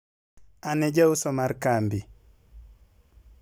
An e jauso mar kambi.